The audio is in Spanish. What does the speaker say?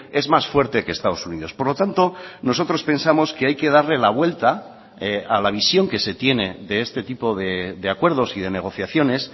es más fuerte que estados unidos por lo tanto nosotros pensamos que hay que darle la vuelta a la visión que se tiene de este tipo de acuerdos y de negociaciones